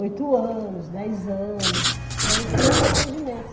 Oito anos, dez anos, que era o pronto atendimento.